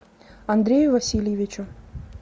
андрею васильевичу